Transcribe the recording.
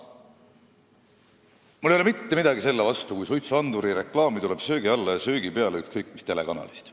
Mul ei ole mitte midagi selle vastu, kui suitsuandurireklaami tuleb söögi alla ja söögi peale ükskõik mis telekanalist.